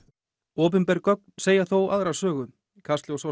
opinber gögn segja þó aðra sögu kastljós